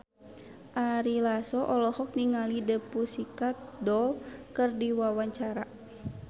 Ari Lasso olohok ningali The Pussycat Dolls keur diwawancara